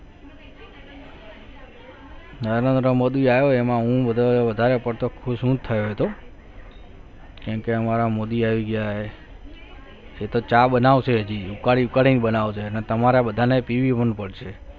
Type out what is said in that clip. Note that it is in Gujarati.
નરેન્દ્ર મોદી આયો એમાં હું વધારે પડતો ખુશ થયો હતો કેમ કે અમારા મોદી આવી ગયા એ તો ચા બનાવશે હજી ઉકાળી ઉકાળીને બનાવશે અને તમારા બધાને પીવી પણ પડશે.